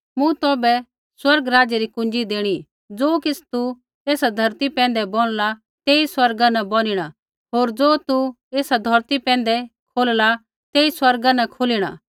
मूँ तौभै स्वर्ग राज्य री कुँज़ी देणी ज़ो किछ़ तू एसा धौरती पैंधै बोनला तेई स्वर्गा न बोनिणा होर ज़ो तू एसा धौरती पैंधै खोलला तेई स्वर्गा न खोलिणा